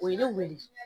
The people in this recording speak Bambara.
O ye ne wele